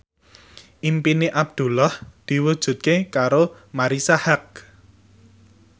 impine Abdullah diwujudke karo Marisa Haque